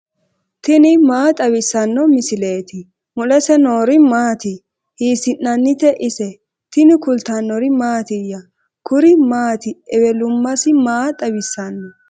tini maa xawissanno misileeti ? mulese noori maati ? hiissinannite ise ? tini kultannori mattiya? Kuri maati ewelummassi maa xawisanno?